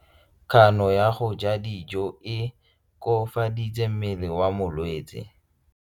Kganô ya go ja dijo e koafaditse mmele wa molwetse.